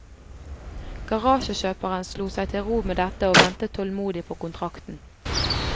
Garasjekjøperen slo seg til ro med dette og ventet tålmodig på kontrakten.